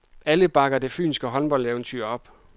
Alle bakker det fynske håndboldeventyr op.